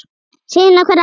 Sýna hver ræður.